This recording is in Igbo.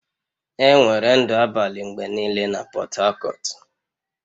Enwere ndụ abalị mgbe niile na Portharcourt